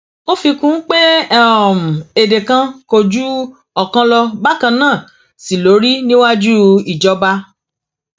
ó fi kún un pé èdè kan kò ju ọkan lọ bákan náà sí ló rí níwájú ìjọba